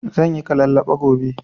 Zanyi kalallaɓa gobe